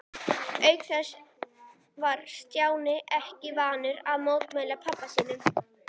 Auk þess var Stjáni ekki vanur að mótmæla pabba sínum.